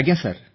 ଆଜ୍ଞା ସାର୍